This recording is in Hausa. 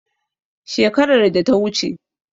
Shekarar data wuce